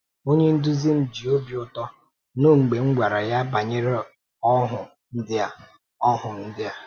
Onye nduzi m... ji obi ụtọ nụ mgbe m gwara ya banyere ọhụụ ndị a. ọhụụ ndị a.